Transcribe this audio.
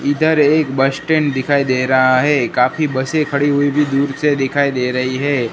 इधर एक bus stand दिखाई दे रहा है काफी बसें खड़ी हुई भी दूर से दिखाई दे रही है।